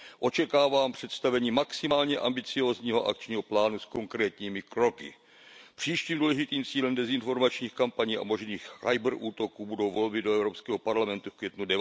Očekávám představení maximálně ambiciózního akčního plánu s konkrétními kroky. Příštím důležitým cílem dezinformačních kampaní a možných kyberútoků budou volby do Evropského parlamentu v květnu